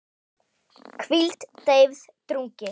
hvíld, deyfð, drungi